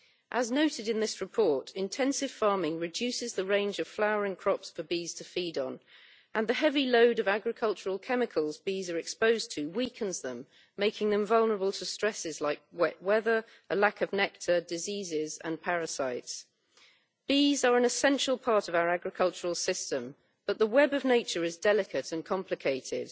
As noted in this report, intensive farming reduces the range of flowering crops for bees to feed on, and the heavy load of agricultural chemicals bees are exposed to weakens them, making them vulnerable to stresses like wet weather, a lack of nectar, diseases, and parasites. Bees are an essential part of our agricultural system, but the web of nature is delicate and complicated.